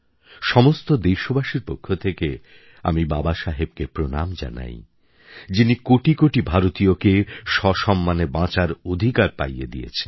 সমস্ত দেশবাসীর পক্ষ থেকে আমি বাবাসাহেবকে প্রণাম জানাই যিনি কোটি কোটি ভারতীয়কে সসম্মানে বাঁচার অধিকার পাইয়ে দিয়েছেন